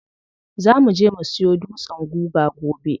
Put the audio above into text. Za muje mu siyo dutsen guga gobe.